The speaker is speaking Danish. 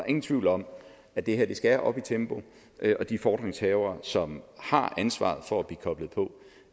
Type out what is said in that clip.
ingen tvivl om at det her skal op i tempo og de fordringshavere som har ansvaret for at blive koblet på